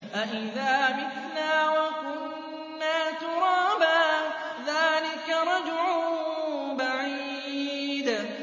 أَإِذَا مِتْنَا وَكُنَّا تُرَابًا ۖ ذَٰلِكَ رَجْعٌ بَعِيدٌ